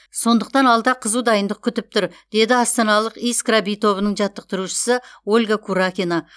сондықтан алда қызу дайындық күтіп тұр деді астаналық искра би тобының жаттықтырушысы ольга куракина